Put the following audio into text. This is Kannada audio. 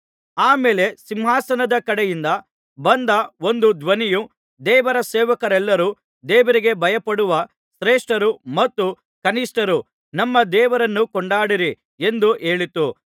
ಆ ಮೇಲೆ ಸಿಂಹಾಸನದ ಕಡೆಯಿಂದ ಬಂದ ಒಂದು ಧ್ವನಿಯು ದೇವರ ಸೇವಕರೆಲ್ಲರೂ ದೇವರಿಗೆ ಭಯಪಡುವ ಶ್ರೇಷ್ಠರು ಮತ್ತು ಕನಿಷ್ಠರು ನಮ್ಮ ದೇವರನ್ನು ಕೊಂಡಾಡಿರಿ ಎಂದು ಹೇಳಿತು